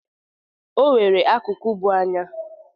O nwere akụkụ bụ anya.